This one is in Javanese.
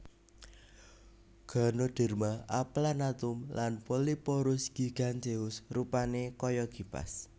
Ganoderma aplanatum lan Polyporus giganteus rupané kaya kipas